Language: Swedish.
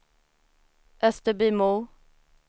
Österbymo